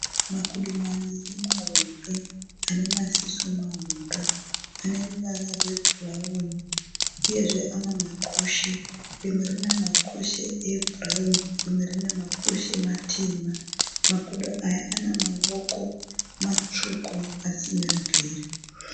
Makudo maviri mahombe ane maziso mahombe. Ane ruvara rwebhurawuni uyezve ane makushe. Rimwe rine makushe ebhurawuni rimwe rine makushe matema. Makudo aya ane maoko matsvuku asina mvere.